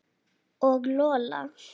Og Lola.